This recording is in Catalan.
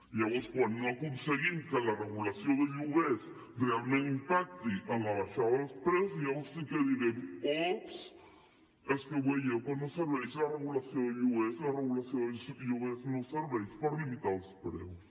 llavors quan no aconseguim que la regulació de lloguers realment impacti en la baixada dels preus llavors sí que direm ups que no ho veieu que no serveix la regulació de lloguers la regulació no serveix per limitar els preus